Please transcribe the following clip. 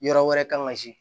Yɔrɔ wɛrɛ kan ka se